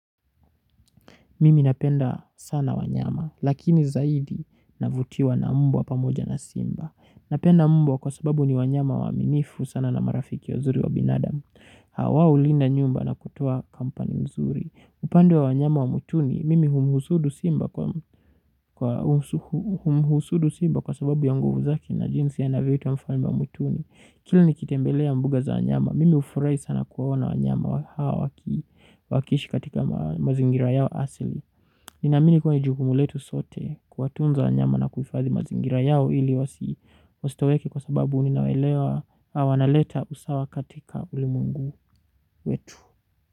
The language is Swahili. Mimi napenda sana wanyama, lakini zaidi navutiwa na mbwa pamoja na simba. Napenda mbwa kwa sababu ni wanyama waaminifu sana na marafiki wazuri wa binadamu. Hawa ulinda nyumba na kutoa kampani mzuri. Upande wa wanyama wa mwituni, mimi humuhusudu simba kwa humuhusudu simba kwa sababu ya nguvu zake na jinsi anavyoitwa mfalme wa mwituni. Kila nikitembelea mbuga za wanyama, mimi hufurai sana kuwaona wanyama hawa wakiishi katika mazingira yao asili. Ninaamini kua ni jukumu letu sote kuwatunza wanyama na kuhifadhi mazingira yao ili wasi wasitoweke kwa sababu ninawaelewa na wanaleta usawa katika ulimwengu wetu.